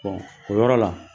o yɔrɔ la